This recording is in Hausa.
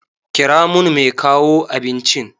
Kira mun mai kawo abincin.